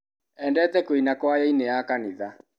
Endete kũina kwayainĩ ya kanitha.